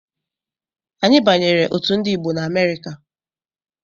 Anyị banyere otu Ndigbo na Amerịka.